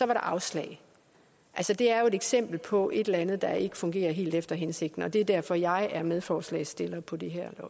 der afslag altså det er jo et eksempel på et eller andet der ikke fungerer helt efter hensigten og det er derfor jeg er medforslagsstiller på det her